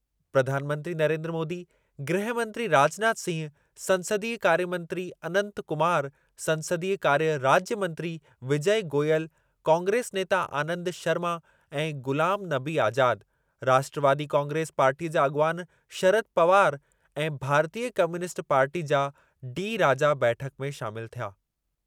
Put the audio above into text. प्रधानमंत्री नरेन्द्र मोदी, गृहमंत्री राजनाथ सिंह, संसदीय कार्यमंत्री अनंत कुमार, संसदीय कार्य राज्य मंत्री विजय गोयल, कांग्रेस नेता आनंद शर्मा ऐं गुलाम नबी आजाद, राष्ट्रवादी कांग्रेस पार्टीअ जा अॻवान शरद पवार ऐं भारतीय कम्युनिस्ट पार्टी जा डी राजा बैठकु में शामिलु थिया।